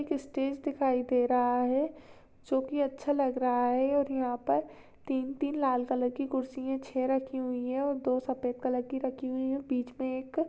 एक स्टेज दिखाई दे रहा है जो की अच्छा लग रहा है और यंहा पर तीन तीन लाल कलर की कुर्सियाँ छ रखी हुई है और दो सफ़ेद कलर की रखी हुई हैं। बीच मे एक--